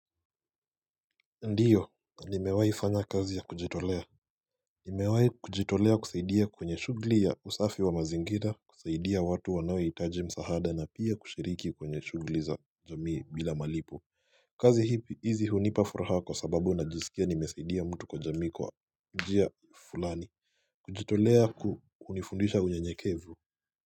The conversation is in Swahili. Ndiyo nimewahi fanya kazi ya kujitolea. Nimewahi kujitolea kusaidia kwenye shughuli ya usafi wa mazingira kusaidia watu wanaohitaji msaada na pia kushiriki kwenye shughuli za jamii bila malipo kazi hizi hunipa furaha kwa sababu najisikia nimesaidia mtu kwa jamii kwa njia fulani kujitolea hunifundisha unyenyekevu.